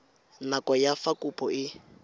nako ya fa kopo e